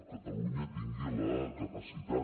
catalunya tingui la capacitat